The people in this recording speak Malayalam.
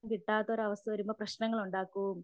സ്നേഹം കിട്ടാത്ത ഒരു അവസ്ഥ വരുമ്പോൾ പ്രശ്നങ്ങളുണ്ടാക്കും